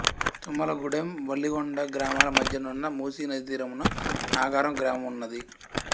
తుమ్మల గూడెం వలిగొండ గ్రామాల మద్య నున్న మూసీ నది తీరమున నాగారం గ్రామంన్నది